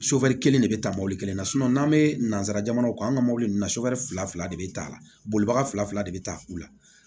kelen de bɛ ta mobili kelen na n'an bɛ nanzara jamanaw kan an ka mobili ninnu fila de bɛ taa a la bolibaga fila fila de bɛ taa u la